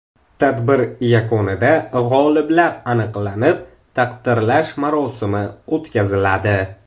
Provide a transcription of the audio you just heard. Tadbir yakunida g‘oliblar aniqlanib, taqdirlash marosimi o‘tkaziladi.